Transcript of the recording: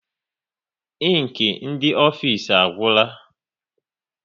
Inki dị n'ofisi agwụla